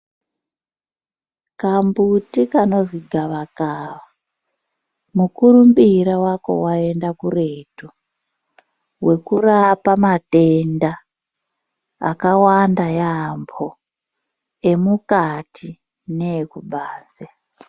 Kambuti kanozi gavakava mukurumbira wako waenda kuretu weku rapa matenda akawanda yambo emukati ne eku banze.